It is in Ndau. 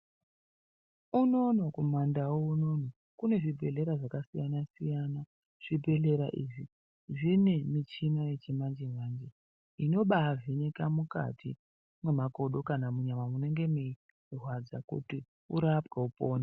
Inono kumandau unono kune zvibhehleya zvakasiyana siyana zvibhehleya izvi zvine muchini yechimanje manje inombaivheneka mukati memakodo kana nyama inge ichirwadza kuti urapwe upone.